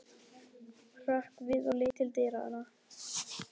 Hrökk við og leit til dyranna.